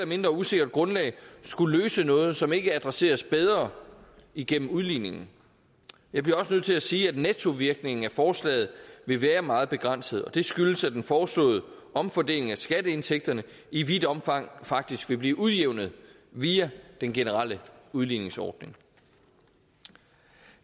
mindre usikkert grundlag skulle løse noget som ikke adresseres bedre igennem udligningen jeg bliver også nødt til at sige at nettovirkningen af forslaget vil være meget begrænset det skyldes at den foreslåede omfordeling af skatteindtægterne i vidt omfang faktisk vil blive udjævnet via den generelle udligningsordning